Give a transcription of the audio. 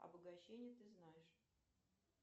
обогащения ты знаешь